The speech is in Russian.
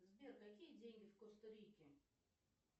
сбер какие деньги в коста рике